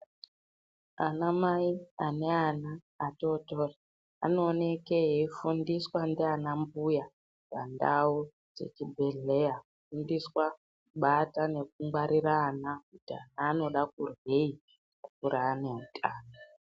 Ana mai ane ana atototri anooneke eifundiswe ndiana mbuya pandau dzechibhedhleya Kufundiswa kubata nekungwarire àna kuti ana anode kuryei kunge anota.